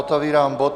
Otevírám bod